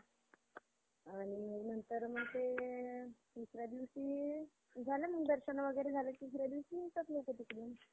आणि नंतर मग ते तिसऱ्या दिवशी झालं मग दर्शन वगैरे तिसऱ्या दिवशी येतात लोकं तिकडून.